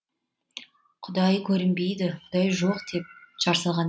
құдай көрінбейді құдай жоқ деп жар салған екен